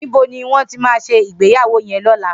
Nibó ni wón ti má sé igbéyàwó yèn lòlá?